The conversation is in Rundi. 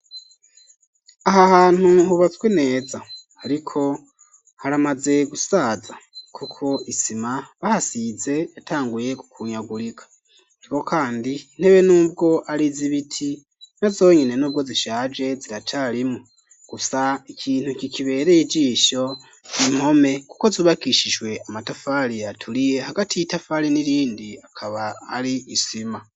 Aha hantu hubatswe neza ariko haramaze gusaza kuko isima bahasize yatanguye gukunyagurika niko kandi intebe n'ubwo arizibiti na zonyene n'ubwo zishaje ziracarimwo gusa ikintu kikibereye ijisho 'impome kuko zubakishijwe amatafari aturiye hagati y'itafari n'irindi hakaba hari isima.